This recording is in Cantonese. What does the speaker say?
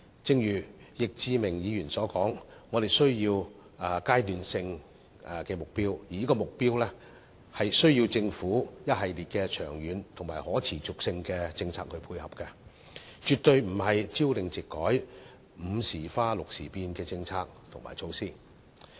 正如易志明議員所說，我們需要階段性的目標，而這些目標需要政府一系列長遠及可持續的政策配合，絕對不應是朝令夕改、"午時花六時變"的政策和措施。